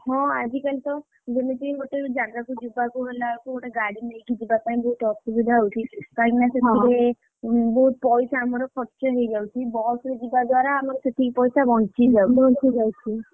ହଁ ଆଜିକାଲି ତ ଯେମିତି ଗୋଟେ ଜାଗାକୁ ଯିବାକୁ ହେଲାକୁ ଗୋଟେ ଗାଡି ନେଇକି ଯିବା ପାଇଁକି ବୋହୁତ ଅସୁବିଧା ହଉଛି କାହିଁକି ନା? ବହୁତ ପଇସା ଆମର ଖର୍ଚ୍ଚ ହେଇ ଯାଉଛି, ବସ ରେ ଯିବା ଦ୍ଵାରା ଆମର ସେତିକି ପଇସା ବଞ୍ଚି ଯାଉଛି। ବଞ୍ଚି ଯାଉଛି।